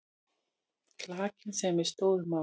Klakinn sem við stóðum á.